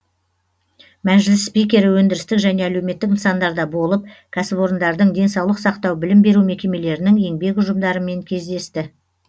мәжіліс спикері өндірістік және әлеуметтік нысандарда болып кәсіпорындардың денсаулық сақтау білім беру мекемелерінің еңбек ұжымдарымен кездесті